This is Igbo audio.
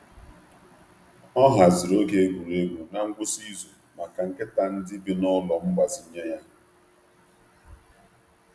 Ọ haziri oge egwuregwu n’ngwụsị izu maka nkịta ndị bi n’ụlọ mgbazinye ya.